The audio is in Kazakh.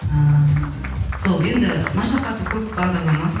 ыыы сол енді машақаты көп бағдарлама